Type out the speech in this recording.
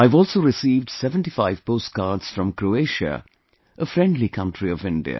I have also received 75 postcards from Croatia, a friendly country of India